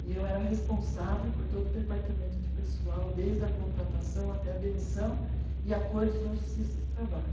e eu era a responsável por todo o departamento de pessoal desde a contratação até a demissão e acordos na justiça do trabalho